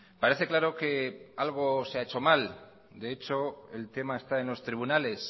parece claro que algo se ha hecho mal de hecho el tema está en los tribunales